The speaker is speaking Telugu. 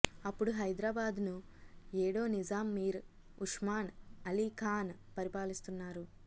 అప్పుడు హైదరాబాద్ను ఏడో నిజాం మీర్ ఉస్మాన్ అలీ ఖాన్ పరిపాలిస్తున్నారు